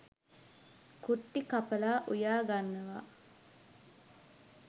කුට්ටි කපලා උයා ගන්නවා.